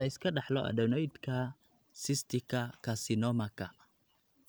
Ma la iska dhaxlo adenoidka cysticka carcinomaka?